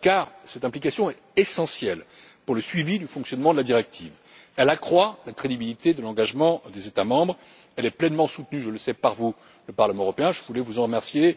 car cette implication est essentielle au suivi du fonctionnement de la directive, elle accroît la crédibilité de l'engagement des États membres, et elle est pleinement soutenue, je le sais par vous, le Parlement européen, et je voulais vous en remercier.